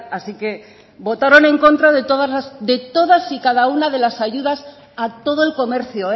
así que votaron en contra de todas las de todas y cada una de las ayudas a todo el comercio